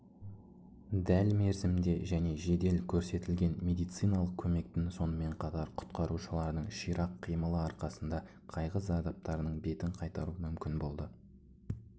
дәл мерзімде және жедел көрсетілген медициналық көмектің сонымен қатар құтқарушылардың ширақ қимылы арқасында қайғы зардаптарының бетін қайтару мүмкін болды